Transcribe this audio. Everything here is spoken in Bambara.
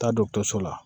Taa dɔgɔtɔrɔso la